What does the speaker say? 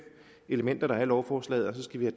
elementer der er i lovforslaget og så skal vi